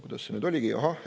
Kuidas see nüüd oligi?